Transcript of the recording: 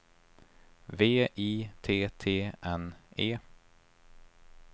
V I T T N E